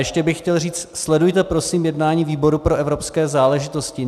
Ještě bych chtěl říci - sledujte, prosím, jednání výboru pro evropské záležitosti.